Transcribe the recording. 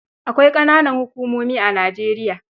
Akwai ƙananan hukumomi a Nijeriya.